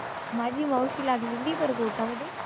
माझी मावशी लागलेली मध्ये.